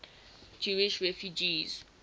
jewish refugees